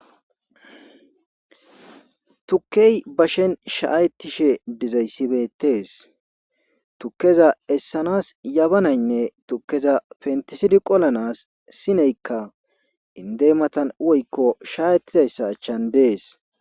Tuke bashen shaayetish dizaysi beetes tukeza esanas yabanaygne tukeza pentisidi qolanas inde matan woykko shaaiyetizayssa achan dees.